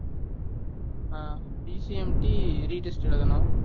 ஆஹ் DCMT re test எழுதணும்